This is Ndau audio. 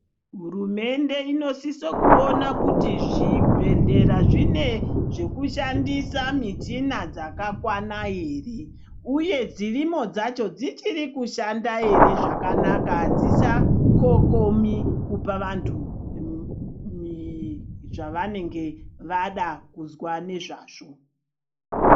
HUrumende inosise kuona kuti zvibhehlera zvine zvekushandisa mishina dzakakwana ere uye dzirimo dzacho dzichiri kushanda ere zvakanaka adzichakokomi kupa vandu zvanenge vada kuzwa ngezvazvo